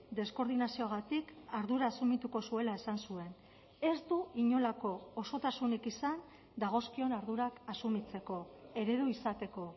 deskoordinazioagatik ardura asumituko zuela esan zuen ez du inolako osotasunik izan dagozkion ardurak asumitzeko eredu izateko